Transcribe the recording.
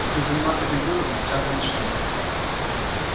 будешь заниматься компьютером сейчас и начнём